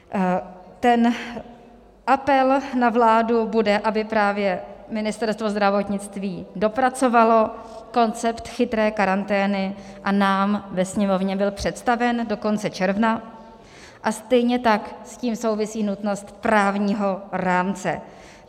Ten apel na vládu bude, aby právě Ministerstvo zdravotnictví dopracovalo koncept chytré karantény a nám ve Sněmovně byl představen do konce června, a stejně tak s tím souvisí nutnost právního rámce.